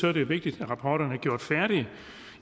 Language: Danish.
er det vigtigt at rapporterne er gjort færdige